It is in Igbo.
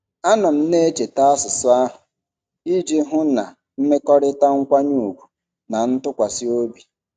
Anọ m na-echeta asụsụ ahụ iji hụ na mmekọrịta nkwanye ùgwù na ntụkwasị obi.